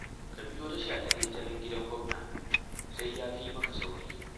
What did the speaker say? Ka biyo ta shataletalen gidan Gwamna, sai ya fi maka sauri